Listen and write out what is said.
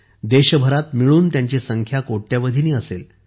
देशभरात मिळून त्यांची संख्या कोट्यावधीनी असेल